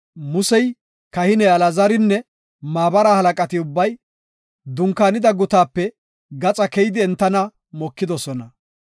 Musey, kahiniya Alaazarinne maabara halaqati ubbay dunkaanida gutaape gaxa keyidi entana mokidosona.